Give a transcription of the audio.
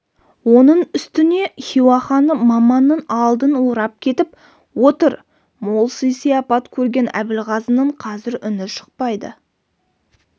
оның үстіне хиуа ханы маманның алдын орап кетіп отыр мол сый-сияпат көрген әбілғазының қазір үні шықпайды